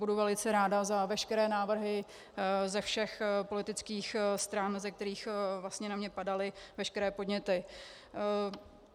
Budu velice ráda za veškeré návrhy ze všech politických stran, ze kterých vlastně na mě padaly veškeré podněty.